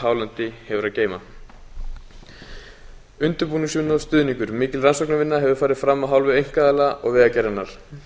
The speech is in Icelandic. hálendi hefur að geyma undirbúningsvinna og stuðningur mikil rannsóknarvinna hefur farið fram af hálfu einkaaðila og vegagerðarinnar